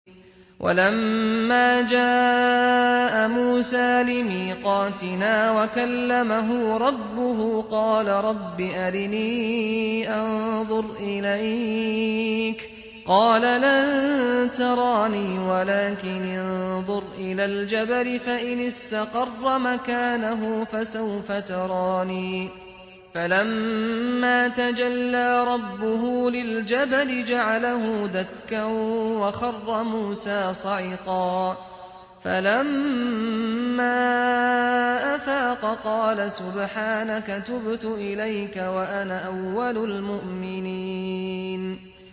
وَلَمَّا جَاءَ مُوسَىٰ لِمِيقَاتِنَا وَكَلَّمَهُ رَبُّهُ قَالَ رَبِّ أَرِنِي أَنظُرْ إِلَيْكَ ۚ قَالَ لَن تَرَانِي وَلَٰكِنِ انظُرْ إِلَى الْجَبَلِ فَإِنِ اسْتَقَرَّ مَكَانَهُ فَسَوْفَ تَرَانِي ۚ فَلَمَّا تَجَلَّىٰ رَبُّهُ لِلْجَبَلِ جَعَلَهُ دَكًّا وَخَرَّ مُوسَىٰ صَعِقًا ۚ فَلَمَّا أَفَاقَ قَالَ سُبْحَانَكَ تُبْتُ إِلَيْكَ وَأَنَا أَوَّلُ الْمُؤْمِنِينَ